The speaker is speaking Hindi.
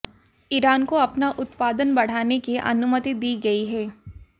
ईरान को अपना उत्पादन बढ़ाने की अनुमति दी गई है